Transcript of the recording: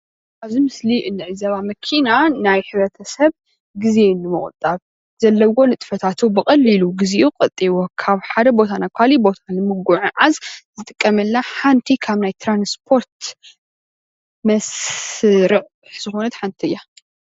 ኣብዚ ምስሊ እንዕዘባ መኪና ናይ ሕብረተሰብ ግዜ ንሞቁጣብ ዘለዎ ንጥፈታቱ ብቀሊሉ ግዚኡ ቆጢቡ ካብ ሓደ ቦታ ናብ ኻሊእ ቦታ ንምጉዕዓዓዝ እንጥቀመላ ሓንቲ ካብ ናይ ትራንስፖርት መስርዕ ዝኾነት ሓንቲ እያ።